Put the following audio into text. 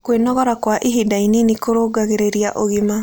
Kwĩnogora kwa ĩhĩda ĩnĩnĩ kũrũngagĩrĩrĩa ũgima